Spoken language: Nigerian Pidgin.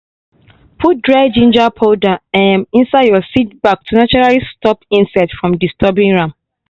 put dry ginger powder um inside your seed bag to naturally stop insects from disturbing am.